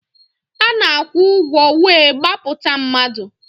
A na-akwụ ụgwọ wee gbapụta mmadụ.